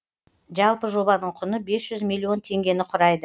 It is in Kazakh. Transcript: жалпы жобаның құны бес жүз миллион теңгені құрайды